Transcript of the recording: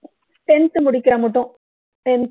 tenth முடிக்கிற முட்டும் tenth